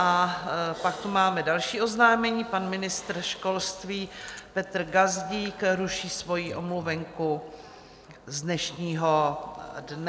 A pak tu máme další oznámení, pan ministr školství Petr Gazdík ruší svoji omluvenku z dnešního dne.